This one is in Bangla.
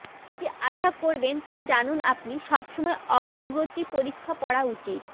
কি আশা করবেন তা জানুন আপনি সবসময় অগ্রগতি পরীক্ষা পড়া উচিত